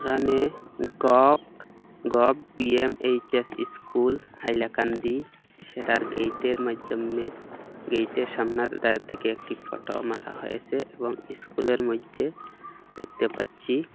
এখানে গভট গভ ভি_এম_এইচ_এস ইস্কুল হাইলাকান্দি সেটার গেইটের মাইধ্যমে গেইটের সামনার দা-দিকে একটি ফটো মারা হয়েসে এবং ইস্কুলের মইধ্যে দেখতে পাচ্ছি--